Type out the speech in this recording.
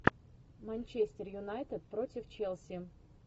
манчестер юнайтед против челси